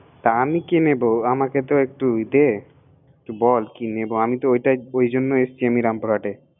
তা আমি কি নিবো আমাকে টো একটু দে বল কি নিবো?